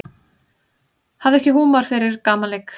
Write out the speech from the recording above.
Hafði ekki húmor fyrir gamanleik